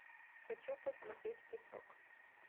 хочу посмотреть песок